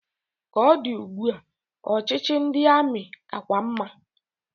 Ka o di ugbu a, ọchịchị ndị amị kakwa mma.